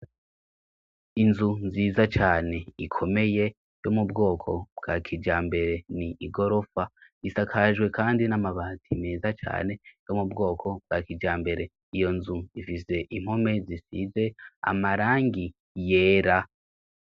Inzu nziza cane ikomeye yo mu bwoko bwa kija mbere ni igorofa isakajwe, kandi n'amabati meza cane yo mu bwoko bwa kija mbere iyo nzu ifise impome zisize amarangi yera.